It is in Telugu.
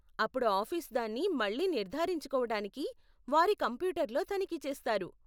అప్పుడు ఆఫీసు దాన్ని మళ్ళీ నిర్ధారించుకోవటానికి వారి కంప్యూటర్లో తనిఖీ చేస్తారు.